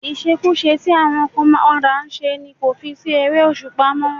Ìṣekúṣe tí àwọn kan máa ń padà ṣe ni kò fi sí ère-òṣùpá mó.